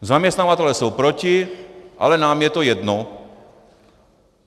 Zaměstnavatelé jsou proti, ale nám je to jedno.